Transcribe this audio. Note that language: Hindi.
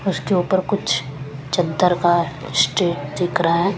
उसके ऊपर कुछ चादर का दिख रहा है।